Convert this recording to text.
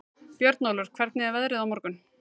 Björnólfur, hvernig er veðrið á morgun?